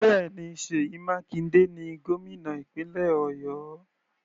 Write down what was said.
Bẹ́ẹ̀ni, Seyi Makinde ni gómìnà ìpínlẹ̀ Ọ̀yọ́.